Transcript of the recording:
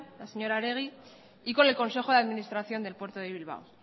la señora oregi y con el consejo de administración del puerto de bilbao